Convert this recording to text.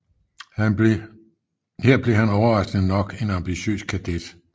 Her blev han overraskende nok en ambitiøs kadet